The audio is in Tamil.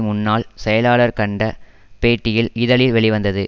முன்னாள் செயலாளர் கண்ட பேட்டியில் இதழில் வெளிவந்தது